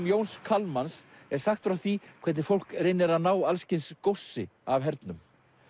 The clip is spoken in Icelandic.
Jóns Kalmans er sagt frá því hvernig fólk reynir að ná alls kyns góssi af hernum